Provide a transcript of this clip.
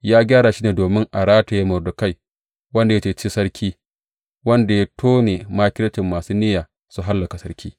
Ya gyara shi ne domin a rataye Mordekai, wanda ya yi cece sarki wanda ya tone makircin masu niyya su hallaka sarki.